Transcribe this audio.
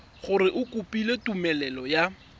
gore o kopile tumelelo ya